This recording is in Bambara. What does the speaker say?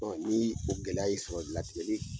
ni o gɛlɛya y'i sɔrɔ latigɛli